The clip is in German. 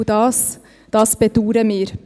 Und das bedauern wir.